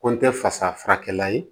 Ko n tɛ fasa furakɛla ye